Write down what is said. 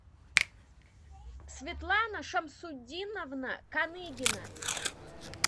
светлана шамсутдиновна коныгина